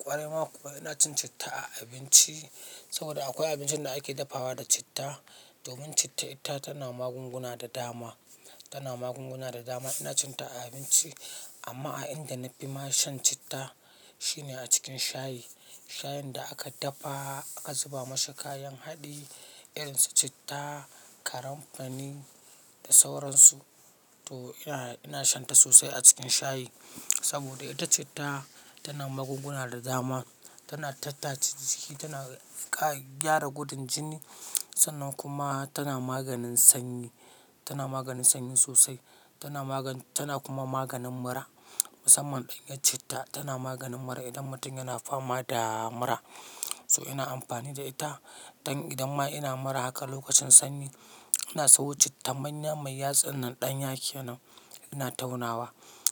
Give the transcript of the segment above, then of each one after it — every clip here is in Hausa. Ƙwarai ma kuwa ina cin citta a abinci saboda akwai abincin da ake dafawa da citta domin citta ita tana magunguna da dama, tana magunguna da dama. Ina cin ta a abinci amma a inda na fi ma shan citta shine a cikin shayi. Shayin da aka dafa aka zuba mashi kayan haɗi irin su citta, karamfani da sauransu. To ina, ina shan ta sosai a cikin shayi saboda ita citta tana magunguna da dama. Tana tattachi jiki, tana gyara gudun jini sannan kuma tana maganin sanyi. Tana maganin sanyi sosai. Tana magani, tana kuma maganin mura. Musamman ɗanyar citta tana maganin mura idan mutum yana fama da mura. So ina amfani da ita. Dan idan ma ina mura haka lokacin sanyi ina sawo citta manya mai yatsun nan ɗanya kenan ina taunawa.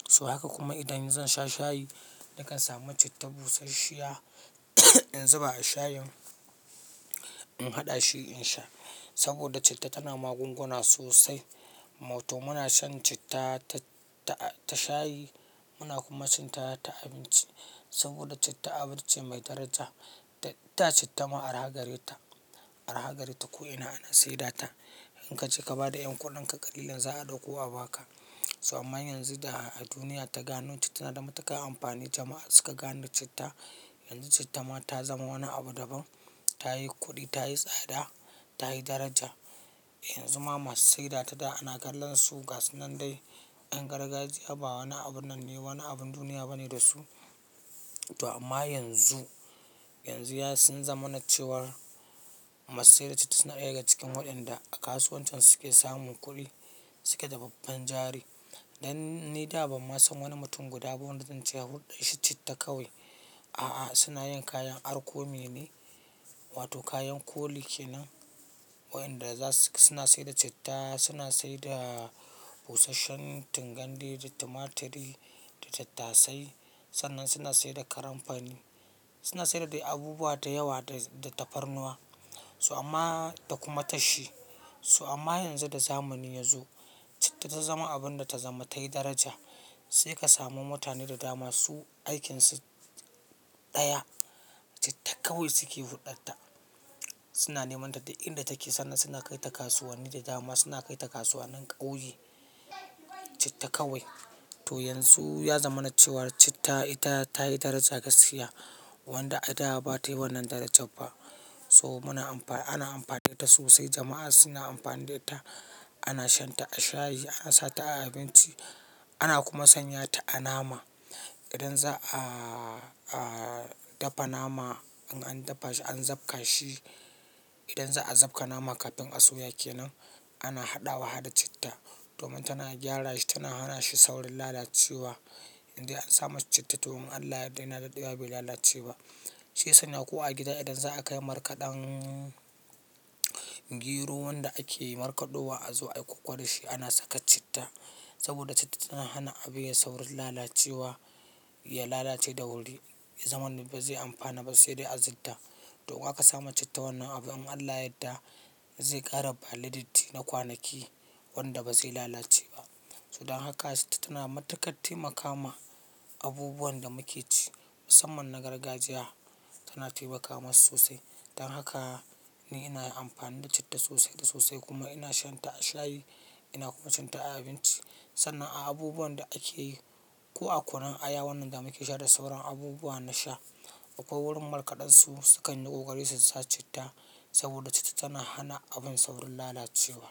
So haka kuma idan zan sha shayi nakan sami citta busasshiya in zuba a shayin, in haɗa shi in sha saboda citta tana magunguna sosai. Ma to muna shan citta ta, ta shayi muna kuma cin ta ta abinci saboda citta abu ce mai daraja. Da citta ma araha gare ta, araha gare ta ko ina ana sai da ta. In ka je ka ba da y'an kuɗanka ƙalilan za a ɗauko a ba ka. So amma yanzu da duniya ta gano citta na da matuƙan amfani jama'a suka gane citta. Yanzu citta ma ta zama wani abu daban. Ta yi kuɗi, ta yi tsada, ta yi daraja. Yanzu ma masu saida ta da ana kallon su gasu nan dai 'yan gargajiya ba wani abu nan ne, wani abin duniya ba ne da su. To amma yanzu, yanzu ya sun zama na cewar masu saida citta suna ɗaya ga cikin waɗanda a kasuwancin suke samun kuɗi. Su ke da babban jari. Dan ni da ba ma san wani mutum guda ba wanda zan ce a huɗɗuar shi citta kawai. A'a suna yin kayan arkomi ne wato kayan koli kenan. Waɗanda za su, suna saida citta, suna saida busasshen tingandi da tumaturi da tattasai. Sannan suna saida karamfani. Suna saida dai abubuwa da yawa da, da tafarnuwa. So amma da kuma tashi. So amma yanzu da zamani ya zo citta ta zama abun da ta zama tayi daraja. Sai ka samu mutane da dama su aikinsu ɗaya citta kawai suke huɗɗarta Suna neman ta da inda take sannan suna kai ta kasuwanni da dama. Suna kai ta kasuwanin ƙauye. Citta kawai. To yanzu ya zama na cewar citta ita ta yi daraja gaskiya wanda a da ba ta yi wannan darajan ba. So muna amfani, ana amfani da ita sosai. Jama'a suna amfani da ita. Ana shan ta a shayi, ana sa ta a abinci ana kuma sanya ta a nama. Idan za a, a dafa nama in an dafa shi an zabka shi. Idan za'a zabka nama kafin a soya ke nan ana haɗawa harda da citta domin tana gyara shi. Tana hana shi saurin lalacewa. Indai an sa mata citta to in Allah ya yarda yana daɗewa bai lalace ba. Shi ya sanya ko a gida idan za a kai markaɗan gero wanda ake markaɗo wa a zo a yi koko shi ana saka citta saboda citta tana hana abu yayi saurin lalacewa, ya lalace da wuri. Zai zamana ba zai amfana ba sai dai a zidda. To in aka sa ma citta wannan abun in Allah ya yadda zai ƙara ɓaleditti na kwanaki wanda ba zai lalace ba. So don haka citta tana matuƙar taimaka ma abubuwan da muke ci musamman na gargajiya tana taimakawa sosai. Don haka ni ina amfani da citta sosai da sosai kuma ina shan ta a shayi ina kuma cin ta a abinci. Sannan a abubuwan da ake yi ko a kunun aya wannan da muke sha da sauran abubuwa na sha akwai wurin markaɗansu sukan yi ƙoƙari su sa citta saboda citta tana hana abin saurin lalacewa.